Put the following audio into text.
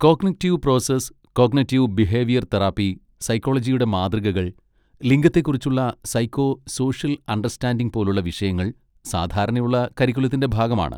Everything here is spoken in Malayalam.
Cognitive process, cognitive behaviour therapy, സൈക്കോളജിയുടെ മാതൃകകൾ, ലിംഗത്തെക്കുറിച്ചുള്ള സൈക്കോ സോഷ്യൽ അണ്ടർസ്റ്റാൻഡിങ് പോലുള്ള വിഷയങ്ങൾ സാധാരണയുള്ള കരിക്കുലത്തിൻ്റെ ഭാഗമാണ്.